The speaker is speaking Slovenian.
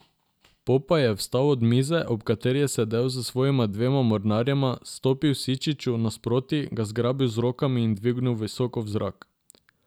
Popaj je vstal od mize, ob kateri je sedel s svojima dvema mornarjema, stopil Sičiču nasproti, ga zgrabil z rokami in dvignil visoko v zrak.